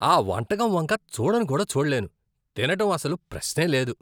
ఆ వంటకం వంక చూడను కూడా చూడలేను తినడం అసలు ప్రశ్నే లేదు.